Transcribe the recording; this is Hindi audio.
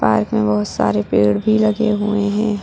पार्क में बहुत सारे पेड़ भी लगे हुए है।